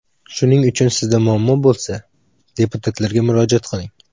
Shuning uchun sizda muammo bo‘lsa, deputatlarga murojaat qiling.